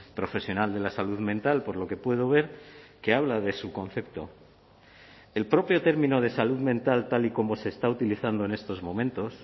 profesional de la salud mental por lo que puedo ver que habla de su concepto el propio término de salud mental tal y como se está utilizando en estos momentos